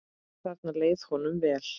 Þarna leið honum vel.